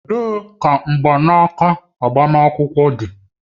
Ebee ka mgbanaka agbamakwụkwọ dị?